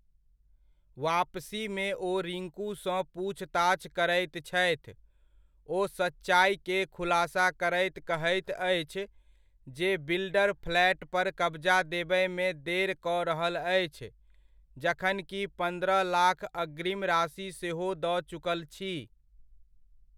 वापसीमे ओ रिंकूसँ पूछताछ करैत छथि, ओ सच्चाइके खुलासा करैत कहैत अछि, जे बिल्डर फ्लैट पर कब्जा देबयमे देर कऽ रहल अछि जखनकि, पन्द्रह लाख अग्रिम राशि सेहो दऽ चुकल छी।